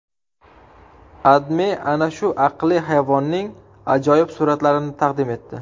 AdMe ana shu aqlli hayvonning ajoyib suratlarini taqdim etdi .